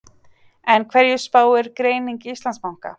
En hverju spáir greining Íslandsbanka?